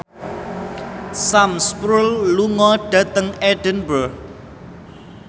Sam Spruell lunga dhateng Edinburgh